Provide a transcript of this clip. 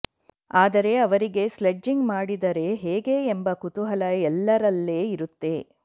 ಆದರೆ ಅವರಿಗೆ ಸ್ಲೆಡ್ಜಿಂಗ್ ಮಾಡಿದರೆ ಹೇಗೆ ಎಂಬ ಕೂತುಹಲ ಎಲ್ಲರಲ್ಲೇ ಇರುತ್ತೇ